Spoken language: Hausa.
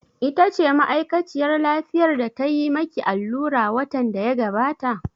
Ita ce ma'aikaciyar lafiyar da tayi ma ki allura watan da ya gabata?